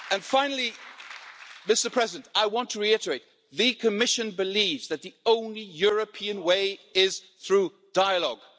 Finally, I want to reiterate that the Commission believes that the only European way is through dialogue.